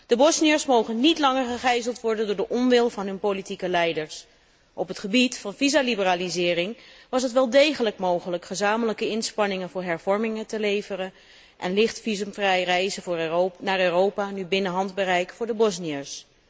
De Bosniërs mogen niet langer gegijzeld worden door de onwil van hun politieke leiders. Op het gebied van visaliberalisering was het wel degelijk mogelijk gezamenlijke inspanningen voor hervormingen te leveren en visumvrij reizen naar Europa ligt nu binnen handbereik voor de Bosniërs.